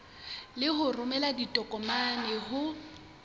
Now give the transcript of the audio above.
le ho romela ditokomane ho